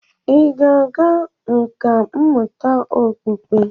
Ị ga-aga nkà mmụta okpukpe?